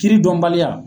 Kiri dɔnbaliya